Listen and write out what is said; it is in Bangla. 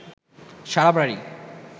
সারা বাড়ি